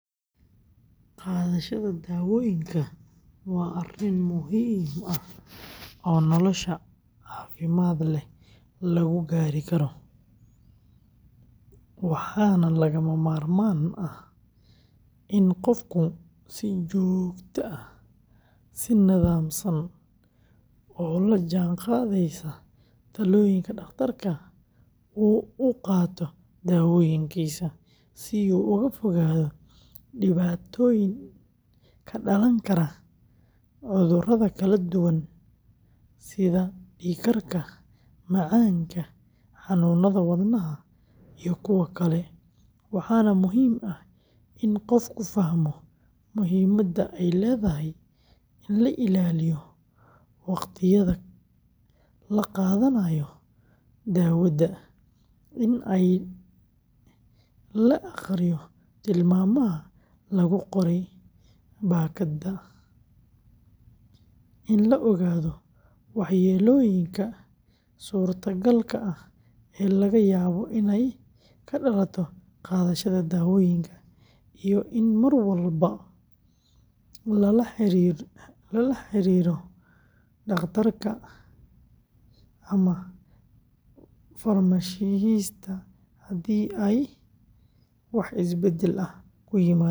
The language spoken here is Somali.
Qaadashada daawooyinka waa arrin muhiim ah oo nolosha caafimaad leh lagu gaari karo, waxaana lagama maarmaan ah in qofku si joogto ah, si nidaamsan, oo la jaanqaadaysa talooyinka dhakhtarka uu u qaato daawooyinkiisa, si uu uga fogaado dhibaatooyin ka dhalan kara cudurada kala duwan, sida dhiig-karka, macaanka, xanuunada wadnaha, iyo kuwa kale, waxaana muhiim ah in qofku fahmo muhiimadda ay leedahay in la ilaaliyo waqtiyada la qaadanayo daawada, in la akhriyo tilmaamaha lagu qoray baakadka, in la ogaado waxyeelooyinka suurtagalka ah ee laga yaabo inay ka dhalato qaadashada daawooyinkan, iyo in mar walba la la xiriirto dhakhtarka ama farmashiistaha haddii ay wax isbedel ah ku yimaadaan jirka.